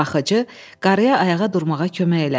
Baxıcı qarıya ayağa durmağa kömək elədi.